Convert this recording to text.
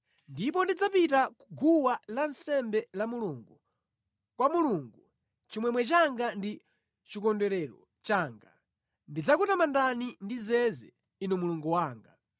Ndipo ndidzapita ku guwa lansembe la Mulungu, kwa Mulungu, chimwemwe changa ndi chikondwerero changa. Ndidzakutamandani ndi zeze, Inu Mulungu wanga.